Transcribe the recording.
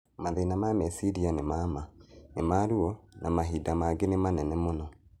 Mathĩna ma meciria nĩma ma, nĩma ruo na rmahinda mangĩ nĩ manene mũno.